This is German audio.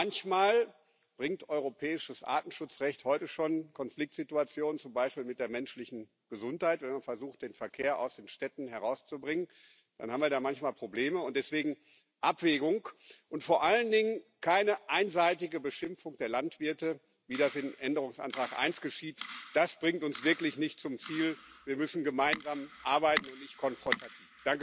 Manchmal bringt europäisches Artenschutzrecht heute schon Konfliktsituationen, zum Beispiel mit der menschlichen Gesundheit, wenn man versucht, den Verkehr aus den Städten herauszubringen, dann haben wir da manchmal Probleme. Deswegen Abwägung und vor allen Dingen keine einseitige Beschimpfung der Landwirte, wie das im Änderungsantrag 1 geschieht. Das bringt uns wirklich nicht zum Ziel. Wir müssen gemeinsam arbeiten und nicht konfrontativ.